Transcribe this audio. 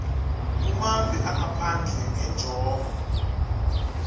kumave angaphandle ngenjongo